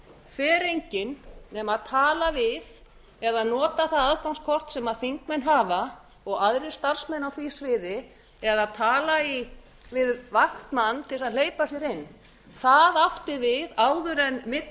fer enginn nema að tala við eða nota það aðgangskort sem þingmenn hafa og aðrir starfsmenn á því sviði eða að tala við vaktmann til að hleypa sér inn það átti við áður en millihurðin